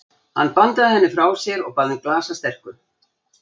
Hann bandaði henni frá sér og bað um glas af sterku.